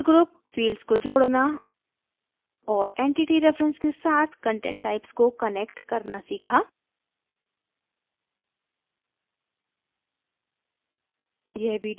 user group fields को जोडना और entity reference के साथ content types को कनेक्ट करना सीखा